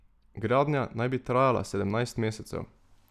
Gradnja naj bi trajala sedemnajst mesecev.